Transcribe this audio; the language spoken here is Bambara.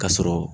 Ka sɔrɔ